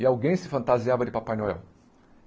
e alguém se fantasiava de Papai Noel.